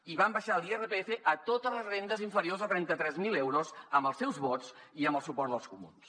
i vam abaixar l’irpf a totes les rendes inferiors a trenta tres mil euros amb els seus vots i amb el suport dels comuns